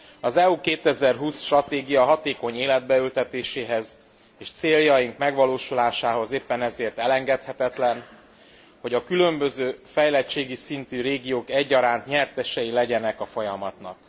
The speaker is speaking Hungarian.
Az EU 2020 stratégia hatékony életbe ültetéséhez és céljai megvalósulásához éppen ezért elengedhetetlen, hogy a különböző fejlettségi szintű régiók egyaránt nyertesei legyenek a folyamatnak.